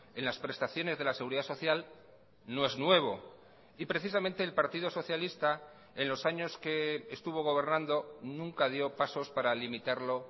en las prestaciones de la seguridad social no es nuevo y precisamente el partido socialista en los años que estuvo gobernando nunca dio pasos para limitarlo